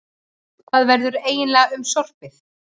Hvað verður eiginlega um sorpið?